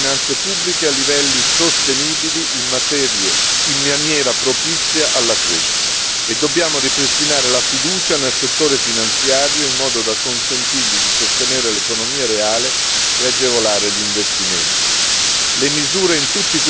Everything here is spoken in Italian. Dobbiamo riportare le nostre finanze pubbliche a livelli sostenibili in maniera propizia alla crescita e dobbiamo ripristinare la fiducia nel settore finanziario, in modo da consentirgli di sostenere l'economia reale e agevolare gli investimenti.